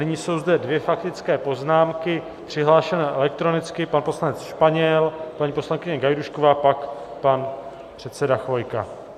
Nyní jsou zde dvě faktické poznámky přihlášené elektronicky - pan poslanec Španěl, paní poslankyně Gajdůšková, pak pan předseda Chvojka.